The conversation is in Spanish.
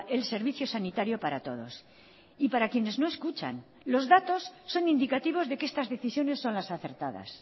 el servicio sanitario para todos y para quienes no escuchan los datos son indicativos de que estas decisiones son las acertadas